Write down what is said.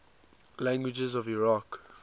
languages of iraq